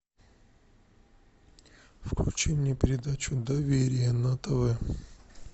включи мне передачу доверие на тв